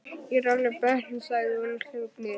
Ég er alveg bötnuð, sagði hún og hljóp niður.